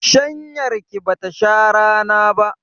Shanyar ki bata sha rana ba.